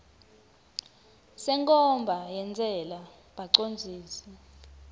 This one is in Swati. senkhomba yentsela bacondzisi